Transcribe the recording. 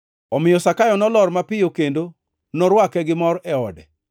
Omiyo Zakayo nolor mapiyo kendo norwake gi mor e ode.